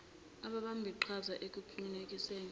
ababambi qhaza ekuqinekiseni